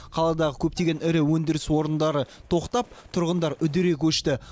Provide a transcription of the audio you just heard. қаладағы көптеген ірі өндіріс орындары тоқтап тұрғындар үдере көшті